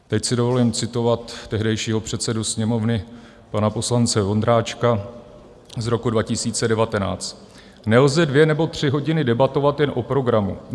Teď si dovolím citovat tehdejšího předsedu Sněmovny pana poslance Vondráčka z roku 2019: Nelze dvě nebo tři hodiny debatovat jen o programu.